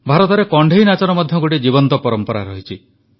ଭାରତରେ କଣ୍ଢେଇ ନାଚର ମଧ୍ୟ ଗୋଟିଏ ଜୀବନ୍ତ ପରମ୍ପରା ରହିଛି